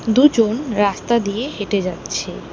দুজন রাস্তা দিয়ে হেঁটে যাচ্ছে।